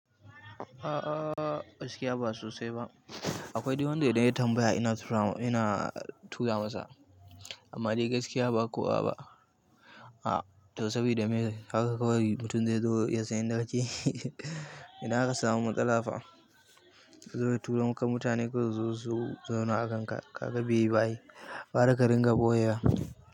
A gaskiya ba sosai ba. Akwai dai wanda idan ya tambaya ina tura masa, amma dai gaskiya ba kowa ba. To saboda me haka kawai mutum zai zo ya san inda kake, ina haka samu matsala fa. To turanka mutane ko su zo su zauna a kan ka, kaga beyi ba ai. Gwara ka ringa ɓoye wa.